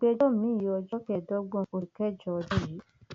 ìgbẹjọ miín di ọjọ kẹẹẹdọgbọn oṣù kẹjọ ọdún yìí